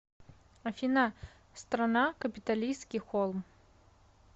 афина страна капитолийский холм